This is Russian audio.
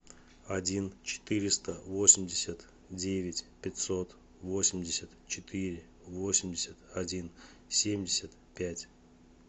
один четыреста восемьдесят девять пятьсот восемьдесят четыре восемьдесят один семьдесят пять